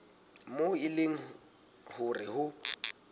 moo e leng hore ho